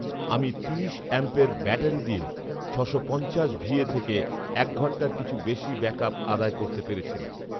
আমি তিনি অ্যাম্প এর ব্যাটারী দিয়ে ছশো পঞ্চাশ ভিএ থেকে এক ঘন্টার কিছু বেশী ব্যাকআপ আদায় করতে পেরেছিলাম